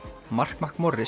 mark